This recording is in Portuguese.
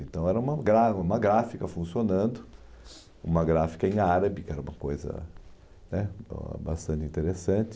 Então era uma gra gráfica funcionando, uma gráfica em árabe, que era uma coisa né bastante interessante.